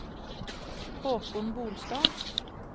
Haakon Bolstad